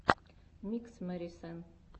микс мэри сенн